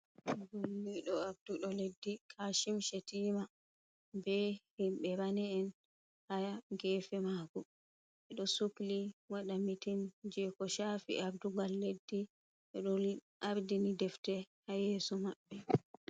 Balliɗo arduɗo leddi Kashim Shettima. Be himɓe rane'en haa geefe maako. Ɓe ɗo sukli waɗa mitin, jee ko shafi ardungal leddi. Ɓe ɗo ardini defte haa yeeso maɓɓe.